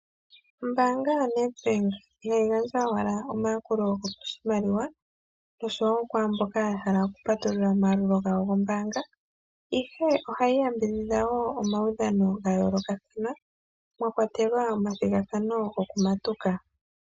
Ombaanga yo Netbank ihayi gandja owala omayakulo goshimaliwa oshowo kwaamboka yahala okutala omaalulo gawo gombaanga. Ohayi yambidhidha wo omaudhano gayoolokathana mwakwatelwa omaudhano gokumatuka.